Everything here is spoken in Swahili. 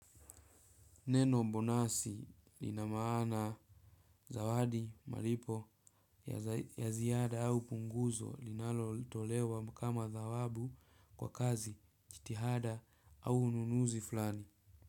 Neno bonasi linamana zawadi malipo ya ziada au punguzo linalo tolewa kama zawadi kwa kazi jitihada au ununuzi fulani.